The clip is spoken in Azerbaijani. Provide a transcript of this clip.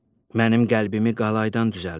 Mənim qəlbimi qalaydan düzəldiblər.